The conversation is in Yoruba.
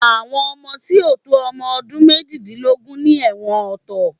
Àwọn ọmọ tí ò tó ọmọ ọdún méjìdínlógún ni ẹ̀wọ̀n ọ̀tọ̀